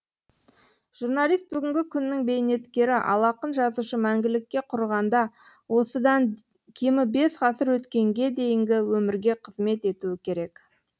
журналист бүгінгі күннің бейнеткері ал ақын жазушы мәңгілікке құрығанда осыдан кемі бес ғасыр өткенге дейінгі өмірге қызмет етуі керек